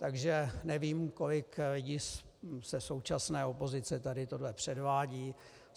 Takže nevím, kolik jich ze současné opozice tady tohle předvádí.